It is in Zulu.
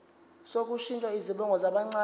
sokushintsha izibongo zabancane